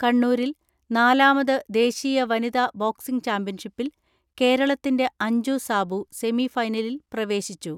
കണ്ണൂരിൽ നാലാമത് ദേശീയ വനിത ബോക് സിംഗ് ചാമ്പ്യൻഷിപ്പിൽ കേരളത്തിന്റെ അഞ്ജു സാബു സെമി ഫൈനലിൽ പ്രവേശിച്ചു.